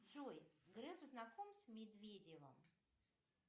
джой греф знаком с медведевым